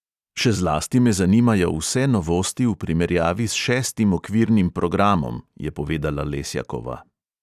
"Še zlasti me zanimajo vse novosti v primerjavi s šestim okvirnim programom," je povedala lesjakova.